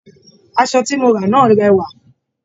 Aṣọ tí mo rà náà rẹwà.